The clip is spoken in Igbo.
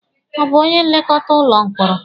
Ọ bụ onye nlekọta ụlọ mkpọrọ?